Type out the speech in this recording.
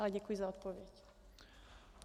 Ale děkuji za odpověď.